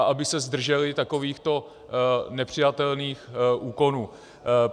A aby se zdrželi takovýchto nepřijatelných úkonů.